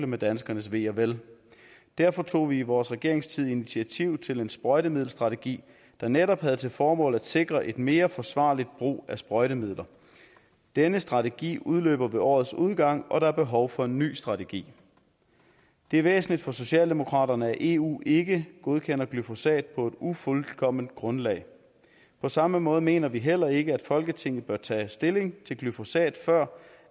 med danskernes ve og vel derfor tog vi i vores regeringstid initiativ til en sprøjtemiddelstrategi der netop havde til formål at sikre en mere forsvarlig brug af sprøjtemidler denne strategi udløber ved årets udgang og der er behov for en ny strategi det er væsentligt for socialdemokraterne at eu ikke godkender glyfosat på et ufuldkomment grundlag på samme måde mener vi heller ikke at folketinget bør tage stilling til glyfosat før